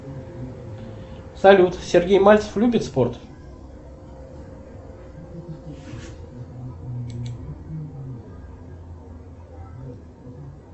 салют сергей мальцев любит спорт